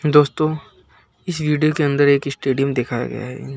दोस्तों इस वीडियो के अंदर एक स्टेडियम देखा गया है।